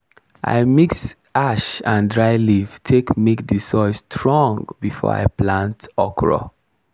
i mix ash and dry leaf take make the soil strong before i plant okra.